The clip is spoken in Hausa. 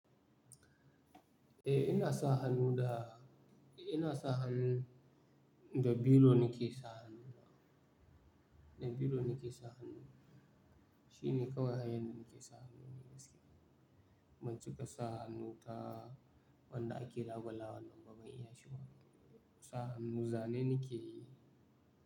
Eh, ina sa hannu da ina sa hannu da biro nake sa hannu. Da biro nake sa hannu. Shi ne kawai hanyar da nake sa hannu ne gaskiya. Banci ka sa hannu ta wanda ake labalawa nan ba zan iya shigarwa ba. Sa hannu zane nake yi.